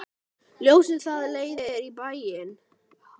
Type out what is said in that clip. Ljósið það leiðir í bæinn.